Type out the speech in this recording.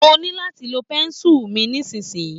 Mo ní láti lo pẹ́ńsùlù mi nísiyìí.